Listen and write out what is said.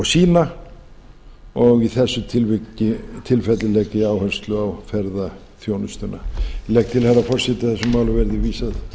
sína og í þessu tilfelli legg ég áherslu á ferðaþjónustuna ég legg til herra forseti að þessu máli verði vísað